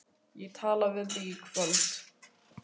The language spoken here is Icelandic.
Ég tala við þig í kvöld